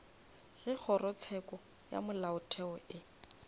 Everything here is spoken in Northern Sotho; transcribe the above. ge kgorotsheko ya molaotheo e